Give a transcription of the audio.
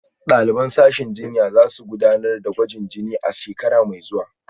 Daliban sashen jinya za su gudanar da gwajin jini a shekara mai zuwa